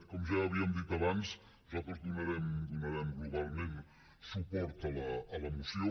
com ja havíem dit abans nosaltres donarem globalment suport a la moció